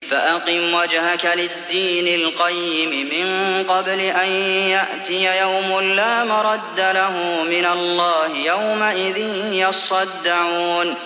فَأَقِمْ وَجْهَكَ لِلدِّينِ الْقَيِّمِ مِن قَبْلِ أَن يَأْتِيَ يَوْمٌ لَّا مَرَدَّ لَهُ مِنَ اللَّهِ ۖ يَوْمَئِذٍ يَصَّدَّعُونَ